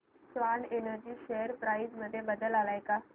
Swan energy share price मध्ये बदल आलाय का